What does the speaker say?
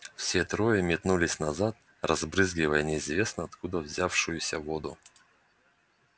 все трое метнулись назад разбрызгивая неизвестно откуда взявшуюся воду